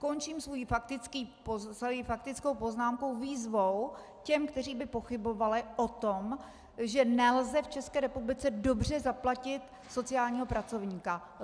Končím svoji faktickou poznámku výzvou těm, kteří by pochybovali o tom, že nelze v České republice dobře zaplatit sociálního pracovníka.